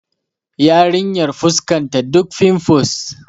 Yarinyar fuskanta duk finfus